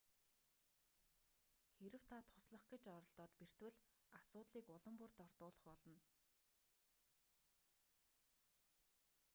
хэрэв та туслах гэж оролдоод бэртвэл асуудлыг улам бүр дордуулах болно